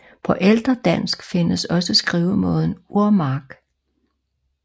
På ældre dansk findes også skrivemåden Urmark